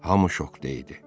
Hamı şokda idi.